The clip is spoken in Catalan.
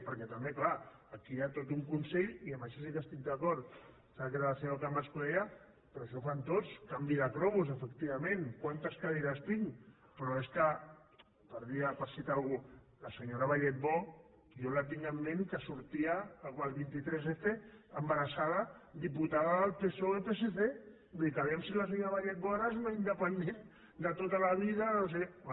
perquè també clar aquí hi ha tot un consell i en això sí que estic d’acord em sembla que era la senyora camats que ho deia però això ho fan tots canvi de cromos efectivament quantes cadires tinc però és que per citar algú la senyora balletbó jo la tinc en ment que sortia el vint tres f embarassada diputada del psoe psc vull dir que vejam si la senyora balletbó ara és una independent de tota la vida de no sé què